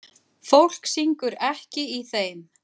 Fólk syngur ekki í þeim.